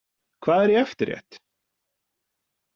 Hvað er í eftirrétt?